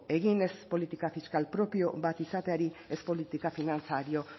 egin ez politika fiskal propio bat izateari ez politika finantzario